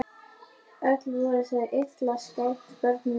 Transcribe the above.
Öll voru þau illa skædd börnin mín.